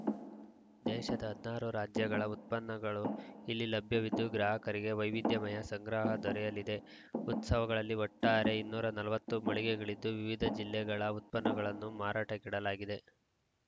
ದೇಶದ ಹದನಾರು ರಾಜ್ಯಗಳ ಉತ್ಷನ್ನಗಳು ಇಲ್ಲಿ ಲಭ್ಯವಿದ್ದು ಗ್ರಾಹಕರಿಗೆ ವೈವಿಧ್ಯಮಯ ಸಂಗ್ರಹ ದೊರೆಯಲಿದೆ ಉತ್ಸವಗಳಲ್ಲಿ ಒಟ್ಟಾರೆ ಇನ್ನೂರ ನಲವತ್ತು ಮಳಿಗೆಗಳಿದ್ದು ವಿವಿಧ ಜಿಲ್ಲೆಗಳ ಉತ್ಪನ್ನಗಳನ್ನು ಮಾರಾಟಕೆ ಇಡಲಾಗಿದೆ